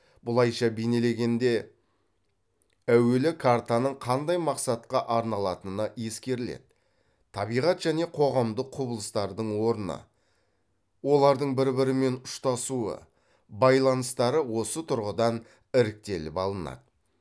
бұлайша бейнелегенде әуелі картаның қандай мақсатқа арналатыны ескеріледі табиғат және қоғамдық құбылыстардың орны олардың бір бірімен ұштасуы байланыстары осы тұрғыдан іріктеліп алынады